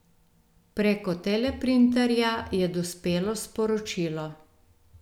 Preko teleprinterja je dospelo sporočilo.